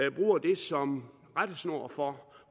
og bruge dem som rettesnor for